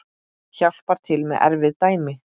Hjálpar til með erfið dæmi.